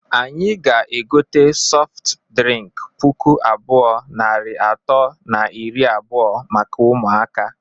Anyị ga-egote sọft drịnk puku abụọ, narị atọ na iri abụọ maka ụmụaka.